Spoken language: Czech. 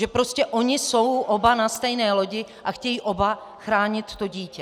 Že prostě oni jsou oba na stejné lodi a chtějí oba chránit to dítě.